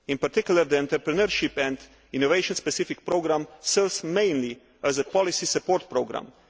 In particular the Entrepreneurship and Innovation Specific Programme serves mainly as a policy support programme.